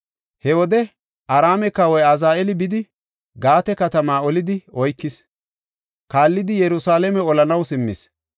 He wode Araame kawoy Azaheeli bidi, Gaate katama olidi oykis. Kaallidi Yerusalaame olanaw simmis.